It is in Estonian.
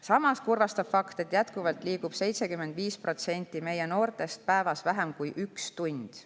Samas kurvastab fakt, et jätkuvalt liigub 75% meie noortest päevas vähem kui üks tund.